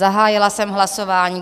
Zahájila jsem hlasování.